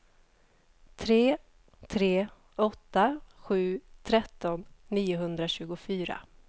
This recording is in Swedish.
tre tre åtta sju tretton niohundratjugofyra